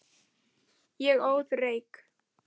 Ég óð reyk.